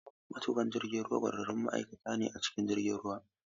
Matuƙan jirgin ruwa ƙwararrun ma'aikata ne a cikin jiragen ruwa.